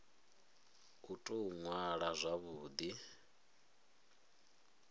u tou ṅwala zwavhu ḓi